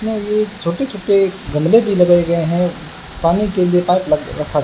छोटे छोटे गमले भी लगाए गए हैं पानी के लिए पाइप लग